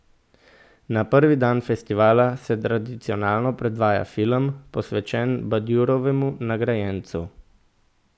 Na prvi dan festivala se tradicionalno predvaja film, posvečen Badjurovemu nagrajencu.